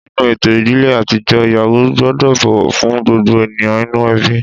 Nínú ètò ìdílé àtijọ́, ìyàwó gbọ́dọ̀ bọ̀wọ̀ fún gbogbo ènìyàn inú ẹbí